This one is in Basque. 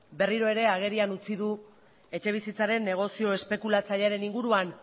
berriro ere agerian utzi du etxebizitzaren negozio espekulatzailearen inguruan